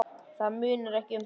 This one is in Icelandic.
Það munar ekki um það.